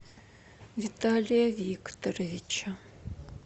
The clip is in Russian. виталия викторовича